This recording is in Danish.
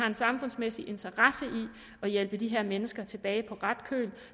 en samfundsmæssig interesse i at hjælpe de her mennesker tilbage på ret køl